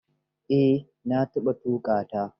Eh, na taɓa tuƙa ta.